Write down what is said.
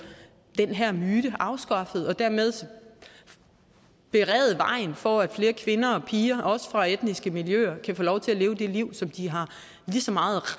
den her myte afskaffet og dermed berede vejen for at flere kvinder og piger også fra etniske miljøer kan få lov til at leve det liv som de har lige så meget